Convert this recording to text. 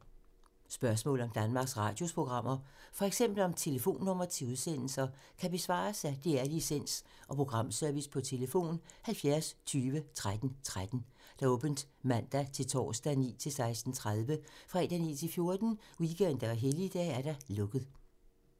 Spørgsmål om Danmarks Radios programmer, f.eks. om telefonnumre til udsendelser, kan besvares af DR Licens- og Programservice: tlf. 70 20 13 13, åbent mandag-torsdag 9.00-16.30, fredag 9.00-14.00, weekender og helligdage: lukket.